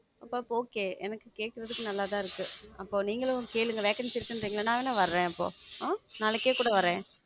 அப்போ Okay எனக்கு கேட்கறதுக்கு நல்லாதான் இருக்கு அப்போ நீங்களும் கேளுங்க vacancy இருக்குன்றீங்க நா வேணா வர்றேன் இப்போ ஆஹ் நாளைக்கே கூட வர்றேன்